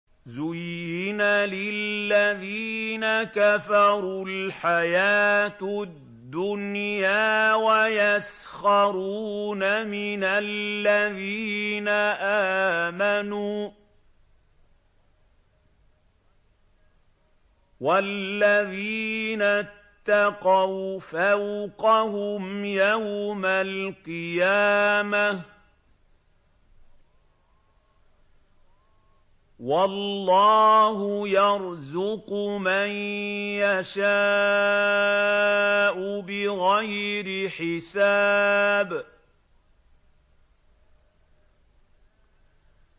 زُيِّنَ لِلَّذِينَ كَفَرُوا الْحَيَاةُ الدُّنْيَا وَيَسْخَرُونَ مِنَ الَّذِينَ آمَنُوا ۘ وَالَّذِينَ اتَّقَوْا فَوْقَهُمْ يَوْمَ الْقِيَامَةِ ۗ وَاللَّهُ يَرْزُقُ مَن يَشَاءُ بِغَيْرِ حِسَابٍ